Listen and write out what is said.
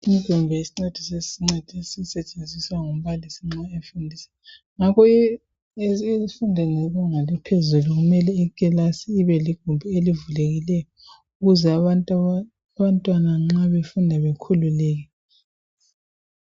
Igumbi esincedisa esisetshenziswa ngumbalisi nxa efundiswa ngokwe emfundweni yebanga eliphezulu ibe ligumbi elivulilweyo ukuze nxa abantwana befunda bekhululeke